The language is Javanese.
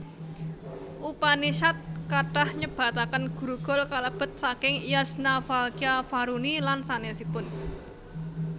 Upanishad kathah nyebataken gurukul kalebet saking Yajnavalkya Varuni lan sanésipun